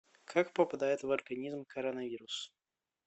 как попадает в организм коронавирус